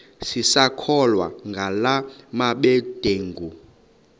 sisakholwa ngala mabedengu